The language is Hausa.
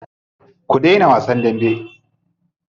Ku daina wasan dambe.